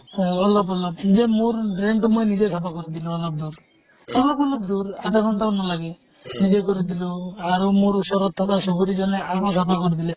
তʼ অলপ অলপ নিজে মোৰ drain টো মই নিজে চাফা কৰি দিলো অলপ দূৰ। অলপ অলপ দূৰ, আধা ঘন্টাও নালাগে। নিজে কৰি দিলো আৰু মোৰ ওচৰত চুবুৰী জনে আধা চাফা কৰি দিলে